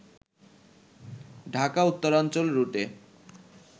ঢাকা-উত্তরাঞ্চল রুটে